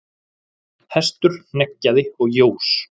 Hestur hneggjaði og jós.